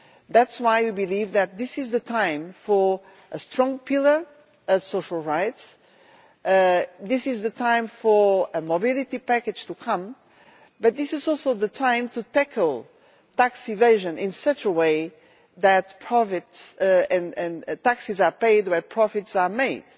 That is why we believe that this is the time for a strong pillar of social rights, this is the time for a mobility package to come, but this is also the time to tackle tax evasion in such a way that taxes are paid where profits are made.